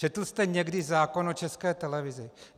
Četl jste někdy zákon o České televizi?